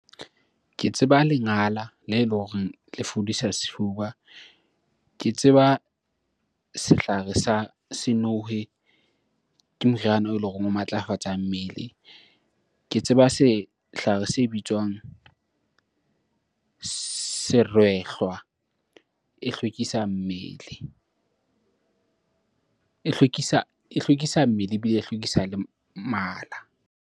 Ke tseba lengala le le horeng le fodisa sefuba. Ke tseba sehlare sa senowe, ke moriana eleng horeng o matlafatsa mmele. Ke tseba sehlare se bitswang serwehlwa e hlwekisa mmele ebile e hlwekisa le mala.